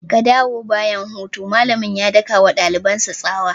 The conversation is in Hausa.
Ka dawo bayan hutu!' malamin ya daka wa dalibansa tsawa.